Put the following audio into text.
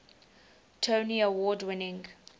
tony award winning